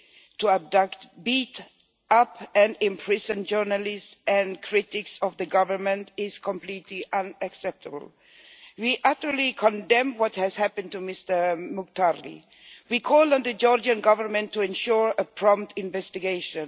to abduct, beat up and imprison journalists and critics of the government is completely unacceptable. We utterly condemn what has happened to Mr Mukhtarli and call on the Georgian Government to ensure a prompt investigation.